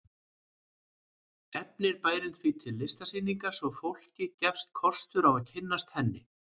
Efnir bærinn því til listsýningar svo að fólki gefist kostur á að kynnast henni.